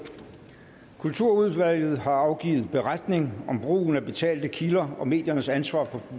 kulturudvalget har afgivet beretning om brugen af betalte kilder og mediernes ansvar